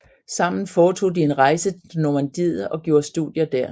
Sammen foretog de en rejse til Normandiet og gjorde studier der